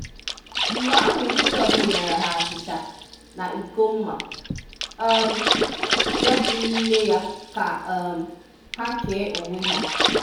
Mgbe ahụ Jizọs nyere hà achịcha na ịko mma um yá dị n'ime ya ka um hà kéé onwe hà.